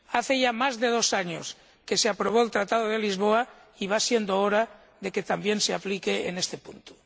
Hace ya más de dos años que se aprobó el Tratado de Lisboa y va siendo hora de que también se aplique en este punto.